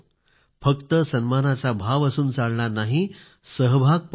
फक्त सन्मानाचा भाव असून चालणार नाही सहभाग पण हवा